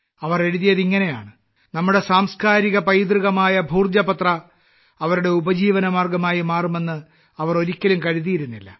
അവർ എഴുതിയത് ഇങ്ങനെയാണ് നമ്മുടെ സാംസ്കാരിക പൈതൃകമായ ഭോജ പത്രം അവരുടെ ഉപജീവന മാർഗ്ഗമായി മാറുമെന്ന് അവർ ഒരിക്കലും കരുതിയിരുന്നില്ല